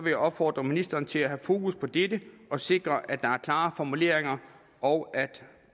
jeg opfordre ministeren til at have fokus på dette og sikre at der er klare formuleringer og at